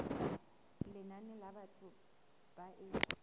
lenane la batho ba e